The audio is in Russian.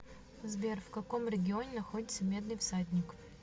сбер в каком регионе находится медный всадник